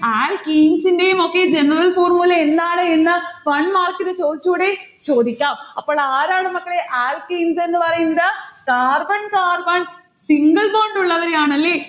alkenes ന്റേയുമൊക്കെ general formula എന്താണ് എന്ന് one mark നു ചൊടിച്ചൂടേ? ചോദിക്കാം. അപ്പോൾ ആരാണ് മക്കളെ alkenes എന്ന് പറയുന്നത്? carbon carbon single bond ഉള്ളവരെയാണ് അല്ലെ